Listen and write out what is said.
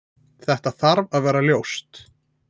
Þetta þarf að vera ljóst.